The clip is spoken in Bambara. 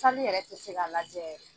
yɛrɛ tɛ se ka lajɛ yɛrɛ